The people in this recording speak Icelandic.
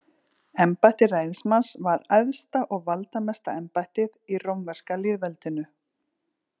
Embætti ræðismanns var æðsta og valdamesta embættið í rómverska lýðveldinu.